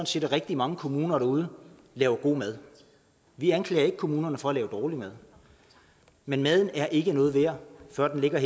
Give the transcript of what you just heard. set at rigtig mange kommuner derude laver god mad vi anklager ikke kommunerne for at lave dårlig mad men maden er ikke noget værd før den er